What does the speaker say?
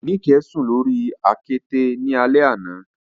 Nike sun lori akete ni alẹ ana